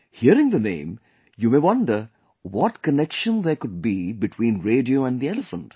Hearing the name you may wonder what connection there could be between radio and the elephant